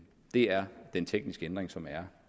det er den tekniske ændring som er